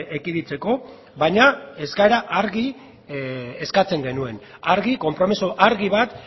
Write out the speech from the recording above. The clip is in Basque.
ekiditeko baina eskaera argi eskatzen genuen argi konpromiso argi bat